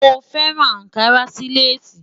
Mo fẹran Ànkarà sí Lace.